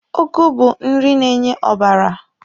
Ụgụ bụ nri na-enye ọbara.